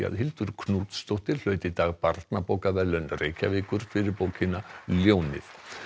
Hildur Knútsdóttir hlaut í dag barnabókaverðlaun Reykjavíkur fyrir bókina ljónið